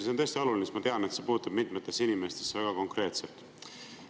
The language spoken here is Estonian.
See on tõesti oluline, sest ma tean, et see puutub mitmesse inimesesse väga konkreetselt.